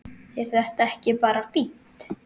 Er þetta ekki bara fínt?